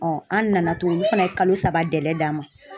an nana tuguni olu fana ye kalo saba d'an ma.